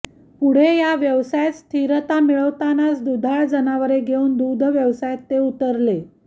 पुढे या व्यवसायात स्थिरता मिळवतानाच दुधाळ जनावरे घेऊन दुग्धव्यवसायात ते उतरले